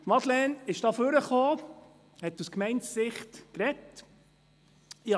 Madeleine Amstutz hat hier ihre Meinung aus Sicht der Gemeinde dargelegt.